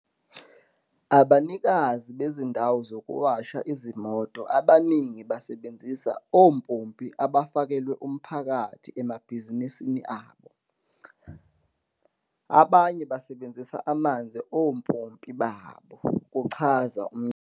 "Abanikazi bezindawo zokuwasha izimoto abaningi basebenzisa ompompi abafakelwe umphakathi emabhizinisini abo, abanye basebenzisa amanzi ompompi babo," kuchaza umnyango.